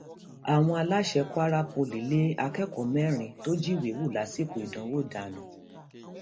àwọn aláṣẹ kwara poli lé akẹkọọ mẹrin tó jíwèé wò lásìkò ìdánwò dànù